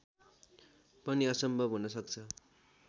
पनि असम्भव हुन सक्छ